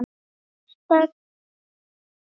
Sérstæðar borholur á Íslandi